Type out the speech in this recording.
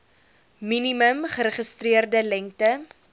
minimum geregistreerde lengte